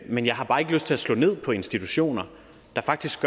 men jeg har bare ikke lyst til slå ned på institutioner der faktisk